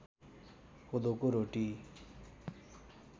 कोदोको रोटी